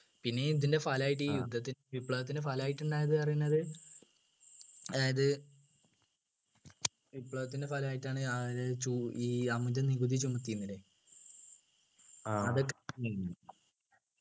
പിന്നെ ഇതിൻ്റെ ഫലമായിട്ട് ഇ യുദ്ധത്തിന് വിപ്ലവത്തിൻ്റെ ഫലമായിട്ട് ഉണ്ടായത് ന്ന് പറയുന്നത് അതായത് വിപ്ലവത്തിൻ്റെ ഫലമായിട്ടാണ് ഈ അമിത നികുതി ചുമത്തിയിന്നില്ലേ അതൊക്കെ